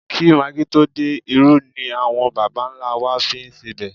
Kí magí tó dé, irú ni àwọn bàbà-ńlá á wá fi ń sebẹ̀